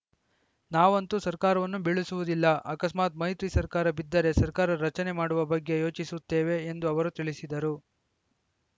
ನಾವಂತೂ ಸರ್ಕಾರವನ್ನು ಬೀಳಿಸುವುದಿಲ್ಲ ಆಕಸ್ಮಾತ್‌ ಮೈತ್ರಿ ಸರ್ಕಾರ ಬಿದ್ದರೆ ಸರ್ಕಾರ ರಚನೆ ಮಾಡುವ ಬಗ್ಗೆ ಯೋಚಿಸುತ್ತೇವೆ ಎಂದು ಅವರು ತಿಳಿಸಿದರು